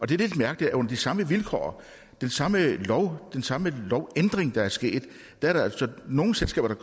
det er lidt mærkeligt at under de samme vilkår den samme lov den samme lovændring der er sket er der altså nogle selskaber der